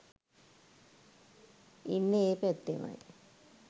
ඉන්නෙ ඒ පැත්තෙමයි.